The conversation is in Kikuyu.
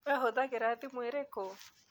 Wee ũhũthagĩra thimũ ĩrĩkũ?